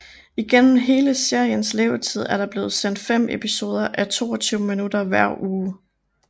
Igennem hele seriens levetid er der blevet sendt fem episoder á 22 minutter hver uge